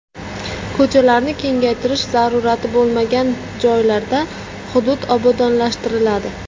Ko‘chalarni kengaytirish zarurati bo‘lmagan joylarda hudud obodonlashtiriladi.